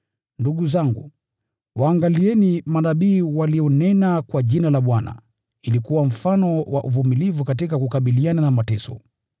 Ndugu zangu, waangalieni manabii walionena kwa Jina la Bwana, ili kuwa mfano wa uvumilivu katika kukabiliana na mateso.